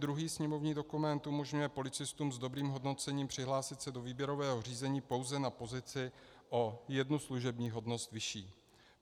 Druhý sněmovní dokument umožňuje policistům s dobrým hodnocením přihlásit se do výběrového řízení pouze na pozici o jednu služební hodnost vyšší.